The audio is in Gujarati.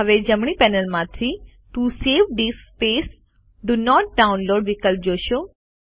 હવે જમણી પેનલમાંથી T O save D I S C space D O not download વિકલ્પ જોશો